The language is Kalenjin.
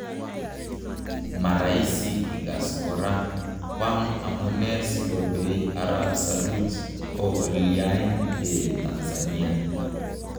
Maraisi ikas kora ,kwang amune si ko bei ap saruji kokolayn eeh Tanzania